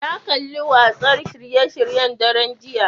Na kalli watsa shirye-shiryen daren jiya